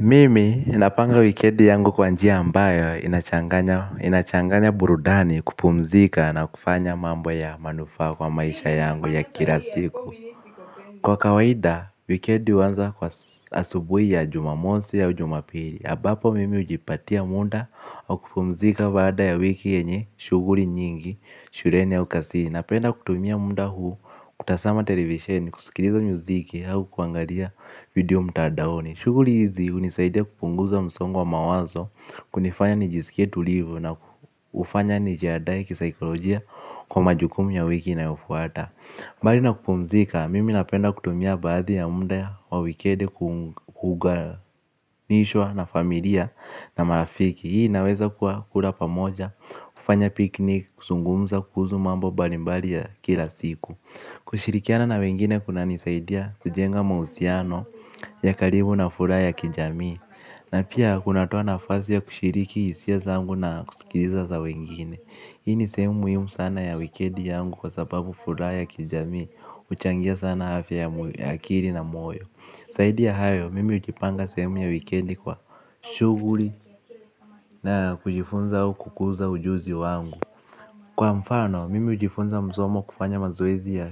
Mimi ninapanga wikedi yangu kwa njia ambayo inachanganya burudani kupumzika na kufanya mambo ya manufa kwa maisha yangu ya kilasiku. Kwa kawaida wikedi wanza kwa asubui ya jumamonsi au jumapiri abapo mimi ujipatia munda wa kupumzika bada ya wiki enye shuguri nyingi shuleni au kazini napenda kutumia muda huu kutazama television kusikiliza mziki au kuangalia video mtandaoni. Shuguli hizi hunisaidia kupunguza msongo wa mawazo kunifanya nijisikie tulivu na hufanya nijiandae kisaikolojia kwa majukumu ya wiki inayofuata. Mbali na kupumzika, mimi napenda kutumia baadhi ya muda wa wikendi kuganishwa na familia na marafiki. Hii inaweza kula pamoja, kufanya piknik, kuzungumza kuhusu mambo mbalimbali ya kila siku. Kushirikiana na wengine kuna nisaidia kujenga mahusiano ya karibu na furaha ya kijami. Na pia kunatuo nafasi ya kushiriki hisia zangu na kusikiliza za wengine. Hii ni sehemu muhimu sana ya wikendi yangu kwa sababu furaha ya kijami huchangia sana afya ya akili na moyo zaidi ya hayo, mimi hujipanga sehemu ya wikendi kwa shuguli na kujifunza au kukuza ujuzi wangu. Kwa mfano, mimi hujifunza msomo kufanya mazoezi ya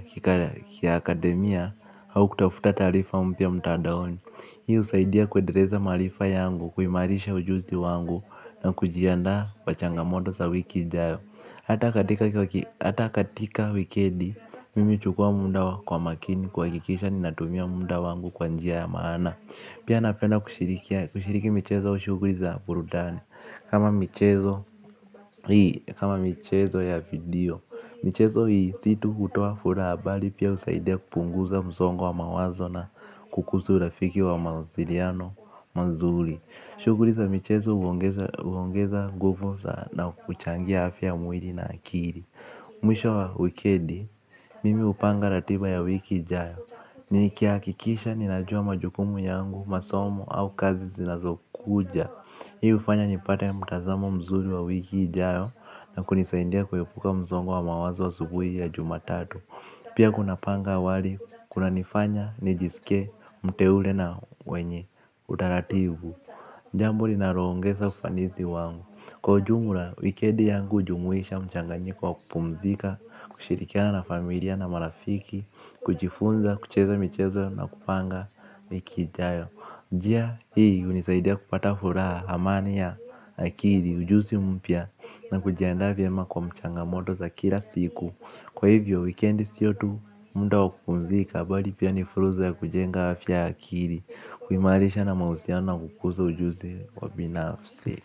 kiakademia au kutafuta taarifa mpya mtandaoni. Hii husaidia kuendeleza maharifa yangu, kuimarisha ujuzi wangu na kujianda kwa changamoto za wiki ijayo. Hata katika hata katika wikendi, mimi huchukua muna kwa makini kuhakikisha ninatumia muda wangu kwa njia ya maana. Pia napenda kushiriki michezo shuguli za burudani. Kama michezo ya video, michezo hii si tu hutoa furaha bali pia husaidia kupunguza msongo wa mawazo na kukuza urafiki wa mawasiliano mazuri shuguli za michezo huongeza huongeza nguvu na kuchangia afya ya mwili na akili. Mwisho wa wikendi, mimi hupanga ratiba ya wiki ijayo. Ni kihakikisha ninajua majukumu yangu, masomo au kazi zinazo kuja. Hii hufanya nipate mtazamo mzuri wa wiki ijayo na kunisaindia kuepuka msongo wa mawazo asubuhi ya jumatatu. Pia kunapanga wali, kuna nifanya, nijisike, muteule na wenye, utaratibu. Jambo linaongeza ufanisi wangu. Kwa ujumla, wikendi yangu hujumuisha mchanganyiko wa kupumzika, kushirikiana na familia na marafiki. Kujifunza, kucheza michezo na kupanga wiki ijayo. Njia hii hunisaidia kupata furaha amani ya akili ujuzi mpya na kujianda vyema kwa mchangamoto za kila siku kwa hivo wikendi siyo tu muda wa kupumzika bali pia ni fursa ya kujenga afya ya akili kuimarisha na mahusiano na kukuza ujuzi kwa binafsi.